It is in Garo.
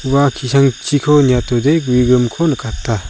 ua ki·sangchi niatode gue grimko nikata.